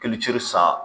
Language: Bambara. Kilici san